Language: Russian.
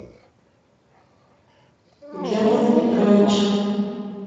германа петровича